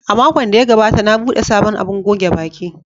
A makon da ya gabata, na buɗe sabon abun goge baki.